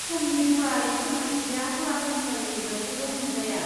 समनि गुवारै फोरमायथिया सरासनस्रायै वेबसाइटाव नुजाया।